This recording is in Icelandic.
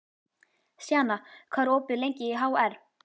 Sjana, hvað er opið lengi í HR?